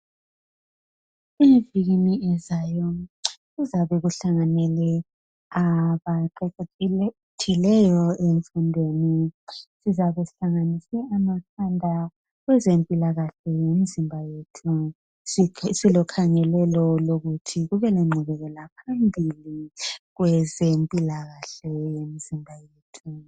Kuthwa ngeviki ezayo kuzabe kuhlanganele abaqeqetshileyo emfundweni sizabe sihlanganise amakhanda kwezempilakahle yemizimba yethu silokhangelelo lokuthi kubelenqubekelaphambili kwezempilakahle yemizimba yethu.